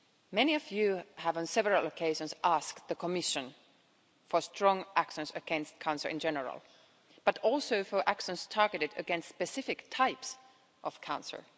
Many of you have on several occasions asked the Commission for strong actions against cancer in general, but also for actions targeted against specific types of cancer.